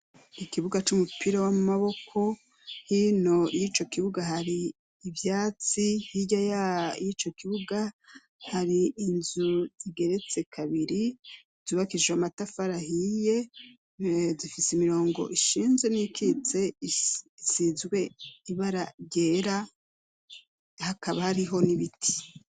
Ikibuga c'umupira w'amaboko, hino y'ico kibuga hari ivyatsi, hirya y'ico kibuga hari inzu zigeretse kabiri, zubakijijwe amatafari ahiye, zifise imirongo ishinze n'iyikitse isizwe ibara ryera, hakaba hariho n'ibiti.